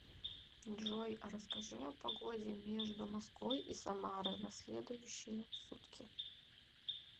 джой а расскажи о погоде между москвой и самары на следующие сутки